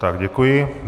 Tak děkuji.